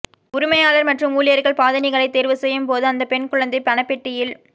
உரிமையாளர் மற்றும் ஊழியர்கள் பாதணிகளை தேர்வு செய்யும் போது அந்த பெண் குழந்தை பணப்பெட்டியில்